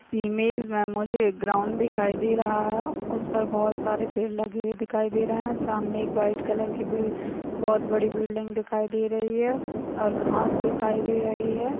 इस इमेज मे मुझे एक ग्राउंड दिखाई दे रहा है उस पर बहुत सारे पेड़ लगे हुए दिखाई दे रहा है सामने एक व्हाइट कलर बी बहुत बड़ी बिल्डिंग दिखाई दे रही है और घाँस दिखाई दे रही है।